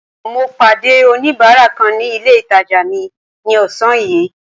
Mo pàdé oníbárà kan ní ilé ìtàjà mi ní ọ̀sán yìí.